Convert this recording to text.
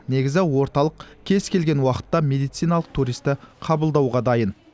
негізі орталық кез келген уақытта медициналық туристті қабылдауға дайын